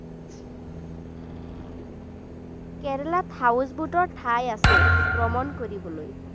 কেৰেলাত house boat ৰ ঠাই আছে ভ্ৰমণ কৰিবলৈ।